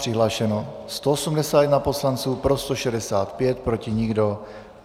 Přihlášeno 181 poslanců, pro 165, proti nikdo.